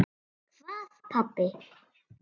Hvað pabbi?